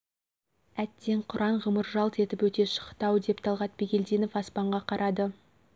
әттең қыран ғұмыр жалт етіп өтіп өте шақты-ау деп талғат бигелдинов аспанға қарады